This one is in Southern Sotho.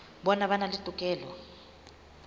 bona ba na le tokelo